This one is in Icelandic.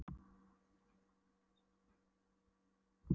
Hún hálfdregur Lenu á eftir sér út úr búðinni.